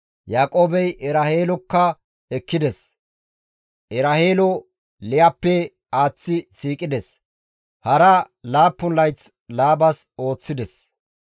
Yaaqoobey Eraheelokka ekkides; Eraheelo Liyappe aaththi siiqides; hara laappun layth Laabas ooththides.